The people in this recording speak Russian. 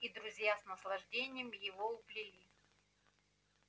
и друзья с наслаждением его уплели